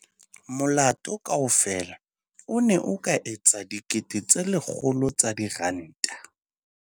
Molato kaofela o ne o ka etsa R100 000.